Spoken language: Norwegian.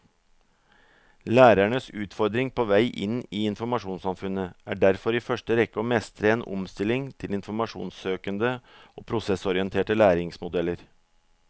Lærernes utfordring på vei inn i informasjonssamfunnet er derfor i første rekke å mestre en omstilling til informasjonssøkende og prosessorienterte læringsmodeller.